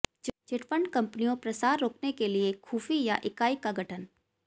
chit fund कंपनियों प्रसार रोकने के लिए खुफि या इकाई का गठन